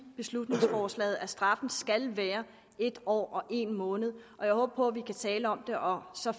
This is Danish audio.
beslutningsforslaget at straffen skal være en år og en måned jeg håber på at vi kan tale om det og så